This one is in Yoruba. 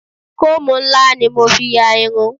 Kóòmù ńlá ni mo fi ya irun.